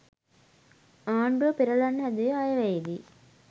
ආණ්ඩුව පෙරලන්න හැදුවේ අයවැයේදි.